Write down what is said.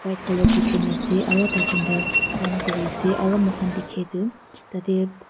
itu colour ase aro taijuntu kaam kuri ase aro mahan dikhi tu tate--